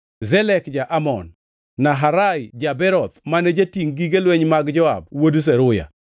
Zelek ja-Amon, Naharai ja-Beroth mane jatingʼ gige lweny mag Joab wuod Zeruya,